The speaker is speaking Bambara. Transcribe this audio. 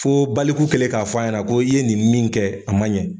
Fo baliku kɛlen k'a fɔ a ɲɛna ko i ye nin min kɛ a man ɲɛ.